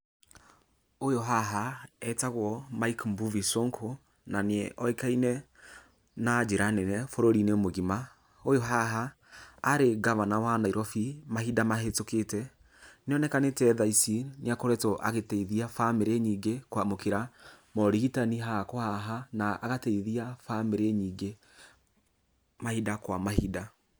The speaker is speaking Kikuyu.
Ũyũ haha, etagwo Mike Mbuvi Sonko, na nĩ oĩkaine na njĩra nene bũrũri-inĩ mũgima. Ũyũ haha, arĩ ngavana wa Nairobi mahinda mahetũkĩte, nĩ onekanĩte thaa ici nĩ akoretwo agĩteithia bamĩrĩ nyingĩ kwamũkĩra morigitani haha kwa haha, na agateithia bamĩrĩ nyingĩ mahinda kwa mahinda.